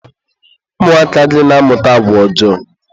ụmụaka gị na-amụta agwa ọjọọ.